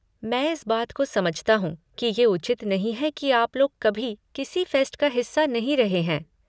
मैं इस बात को समझता हूँ कि ये उचित नहीं है कि आप लोग कभी किसी फ़ेस्ट का हिस्सा नहीं रहे हैं।